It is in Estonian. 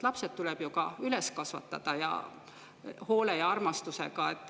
Lapsed tuleb ju ka üles kasvatada – hoole ja armastusega.